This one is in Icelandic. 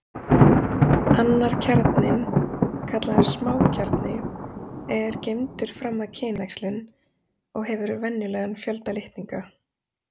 Annar kjarninn, kallaður smákjarni, er geymdur fram að kynæxlun og hefur venjulegan fjölda litninga.